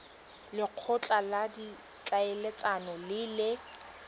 lekgotla la ditlhaeletsano le le